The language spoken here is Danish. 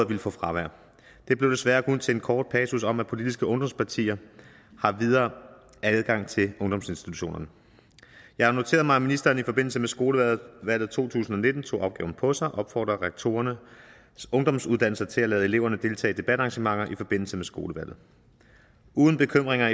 ville få fravær det blev desværre kun til en kort passus om at politiske ungdomspartier har videre adgang til ungdomsinstitutionerne jeg har noteret mig at ministeren i forbindelse med skolevalg to tusind og nitten tog opgaven på sig og opfordrede rektorerne på ungdomsuddannelserne til at lade eleverne deltage i debatarrangementer i forbindelse med skolevalget uden bekymringer